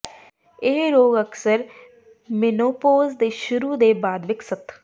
ਇਹ ਰੋਗ ਅਕਸਰ ਮੀਨੋਪੌਜ਼ ਦੇ ਸ਼ੁਰੂ ਦੇ ਬਾਅਦ ਵਿਕਸਤ